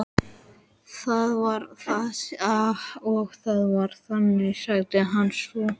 Það var það og það var þannig, sagði hann svo.